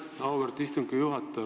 Aitäh, auväärt istungi juhataja!